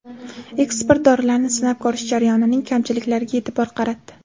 Ekspert dorilarni sinab ko‘rish jarayonining kamchiliklariga e’tibor qaratdi.